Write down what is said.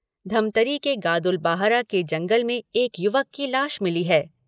धमतरी के गादुल बाहरा के जंगल में एक युवक की लाश मिली है।